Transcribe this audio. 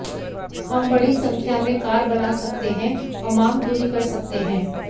हम बड़ी संख्या में कार बना सकते हैं और मांग पूरी कर सकते हैं